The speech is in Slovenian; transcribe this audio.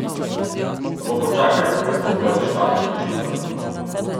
Samo počakaj, da stopijo v štartno hišico.